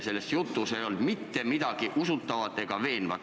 Selles jutus ei olnud mitte midagi usutavat ega veenvat.